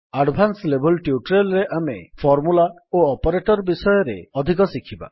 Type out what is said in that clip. advance level tutorial ରେ ଆମେ formula ଓ ଅପରେଟର୍ ବିଷୟରେ ଅଧିକ ଶିଖିବା